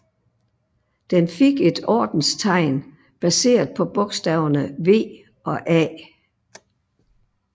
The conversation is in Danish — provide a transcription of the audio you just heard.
Den fik et ordenstegn baseret på bogstaverne V og A